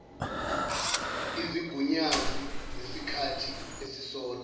izigunyazi zesikhathi esisodwa